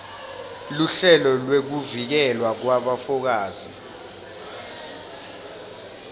luhlelo lwekuvikelwa kwabofakazi